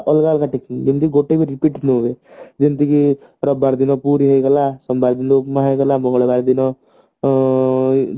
ଅଲଗା ଅଲଗା tiffin ମାନେ ଯେମତି ଗୋଟେବି repeat ନହୁଏ ଯେମତି କି ରବିବାର ଦିନ ପୁରୀ ହେଇଗଲା ସୋମବାର ଦିନ ଉପମା ହେଇଗଲା ମଙ୍ଗଳବାର ଦିନ ଉଁ